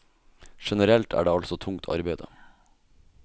Generelt er det altså tungt arbeide.